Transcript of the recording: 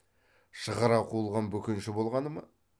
шығара қуылған бөкенші болғаны ма